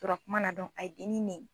tora kuma na dɔn a ye dennin nɛni.